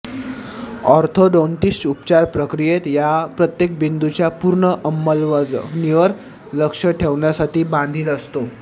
orthodontist उपचार प्रक्रियेत या प्रत्येक बिंदूच्या पूर्ण अंमलबजावणीवर लक्ष ठेवण्यासाठी बांधील असतो